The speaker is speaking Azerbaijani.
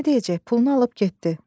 Nə deyəcək, pulunu alıb getdi.